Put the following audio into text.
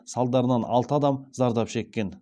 салдарынан алты адам зардап шеккен